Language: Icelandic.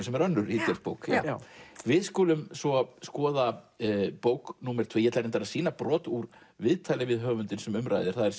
sem er önnur ítölsk bók já við skulum svo skoða bók númer tvö ég ætla að sýna brot úr viðtali við höfundinn sem um ræðir það er